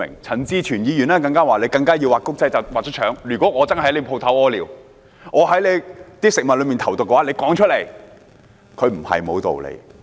陳志全議員認為"畫公仔要畫出腸"，如果他真的在店鋪門口小便，或在食物裏投毒，老闆應說出來，他也不是沒有道理。